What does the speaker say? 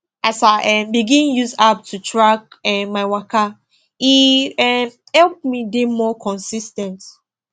as i um begin use app to track um my waka e um help me dey more consis ten t